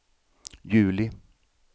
juli